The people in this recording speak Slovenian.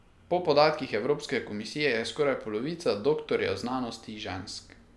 Po podatkih Evropske komisije je skoraj polovica doktorjev znanosti žensk.